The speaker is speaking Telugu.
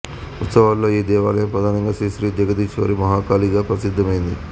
ఉత్సవాలలో ఈ దేవాలయం ప్రధానంగా శ్రీ శ్రీ జగదీశ్వరి మహాకాళి గా ప్రసిద్ధమైంది